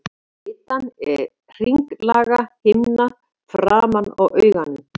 Litan er hringlaga himna framan á auganu.